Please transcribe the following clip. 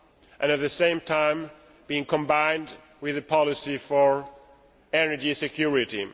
and at the same time to be combined with a policy for energy security.